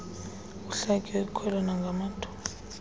kuhlatywe ikhwelo nangamathuba